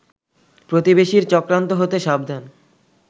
প্রতিবেশীর চক্রান্ত হতে সাবধান